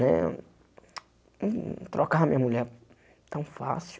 Né hmm trocava minha mulher tão fácil.